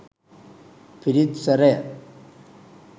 පිරිත් ස්වරය